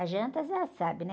As jantas, já sabe, né?